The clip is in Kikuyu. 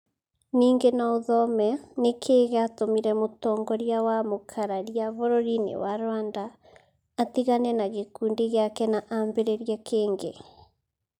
Ningĩ no ũthome: Nĩ kĩĩ gĩatũmire mũtongoria wa mũkararia bũrũri-inĩ wa Rwanda atigane na gĩkundi gĩake na ambĩrĩrie kĩngĩ?